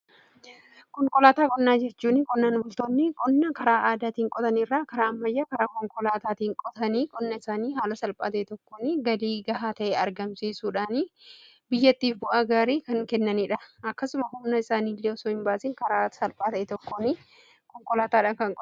konkolaataa qonnaa jechuun qonnaan bultoonni qonna karaa aadaatiin qotanii irraa karaa ammayya karaa konkolaataatiin qotanii qonna isaanii haala salphaa ta'ee tokkoon galii gahaa ta'e argamsiisuudhaani biyyattiif bu'aa gaarii kennaniidha. akkasumas humna isaaniiillee osoo hin baasiin karaa salphaa ta'een tokkoon konkolaataadhan qotuu danda'u.